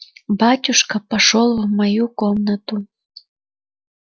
батюшка пошёл в мою комнату